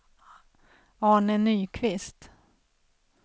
Arne Nyqvist